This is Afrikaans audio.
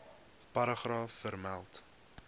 paragraaf vermeld